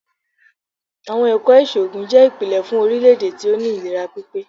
Àwọn Ẹ̀kọ́ ìṣògùn jẹ́ ìpìlẹ̀ fún orílè-èdè tí ó ní ìlera pípé.